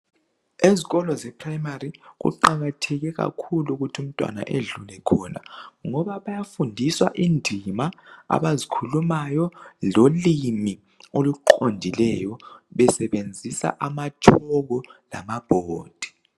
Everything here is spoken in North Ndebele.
Ezikolo ze Primary kuqakatheke kakhulu ukuthi umntwana edlule khona ngoba bayafundiswa indima abazikhulumayo lolimi oluqondileyo besebenzisa amatshoko lama bhodi.